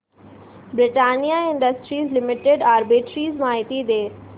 Britannia Industries Limited arbitrage माहिती दे